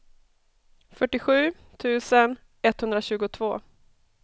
fyrtiosju tusen etthundratjugotvå